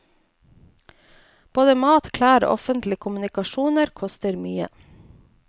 Både mat, klær og offentlige kommunikasjoner koster mye.